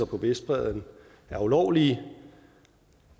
på vestbredden er ulovlige